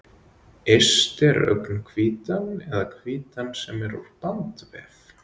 Yst er augnhvítan eða hvítan sem er úr bandvef.